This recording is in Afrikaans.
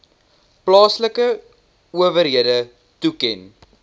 plaaslike owerhede toeken